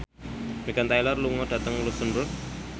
Meghan Trainor lunga dhateng luxemburg